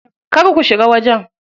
Kar ku shiga wajen.